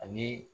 Ani